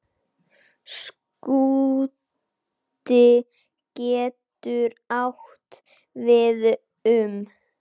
Skúti getur átt við um